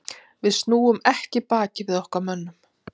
Við snúum ekki baki við okkar mönnum.